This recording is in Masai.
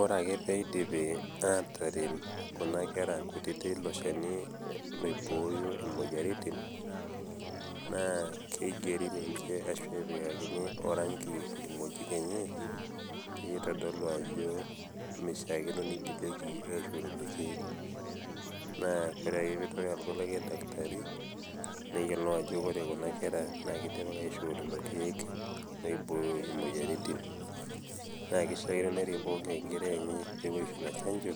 Ore ake pee eidipi aatarem Kuna kera ilo Shani oibooyo imoyaritin, naa keigeri ninche anaa epikakini ninche orangi ilkimojik lenje pee eitadolu ajo keishaakino neigilieki aisho lelo keek, naa ore ake pee eitoki alotu olikai dakitari neyioulou ajo ore Kuna kera naa keidimaki aisho lelo keek oibooyo imoyaritin. Naa keishaakino nerik pooki ng'ai enkerai enye pee epuoi aisho Ina chanjo,